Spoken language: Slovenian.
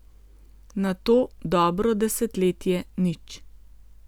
Nato dobro desetletje nič...